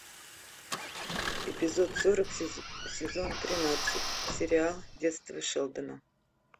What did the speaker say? эпизод сорок сезон тринадцать сериал детство шелдона